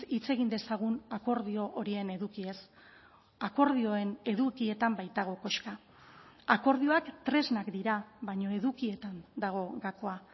hitz egin dezagun akordio horien edukiez akordioen edukietan baitago koska akordioak tresnak dira baina edukietan dago gakoa